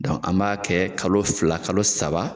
Dɔn an b'a kɛ kalo fila kalo saba